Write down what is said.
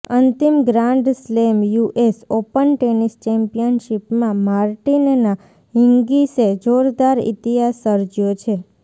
અંતિમ grand slam US Open tennis ચેમ્પિયનશીપમા Martina હિન્ગીસે જોરદાર ઇતિહાસ સર્જયો છે